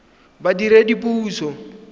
badiredipuso